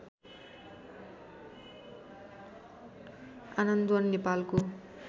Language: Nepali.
आनन्दवन नेपालको